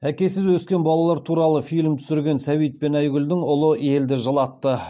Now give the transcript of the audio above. әкесіз өскен балалар туралы фильм түсірген сәбит пен айгүлдің ұлы елді жылатты